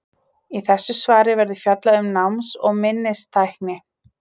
Í þessu svari verður fjallað um náms- og minnistækni.